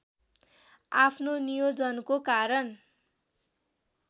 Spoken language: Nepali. आफ्नो नियोजनको कारण